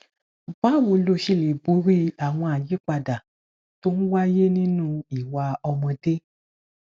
báwo lo ṣe lè borí àwọn àyípadà tó ń wáyé nínú ìwà ọmọdé